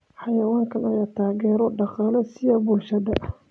Xayawaankan ayaa taageero dhaqaale siiya bulshada.